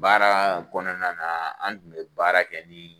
Baara kɔnɔna na an tun bɛ baara kɛ ni